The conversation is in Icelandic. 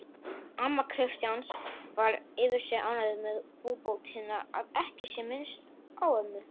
Amma Kristjáns var yfir sig ánægð með búbótina að ekki sé minnst á mömmu